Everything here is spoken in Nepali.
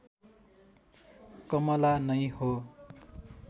कमला नै हो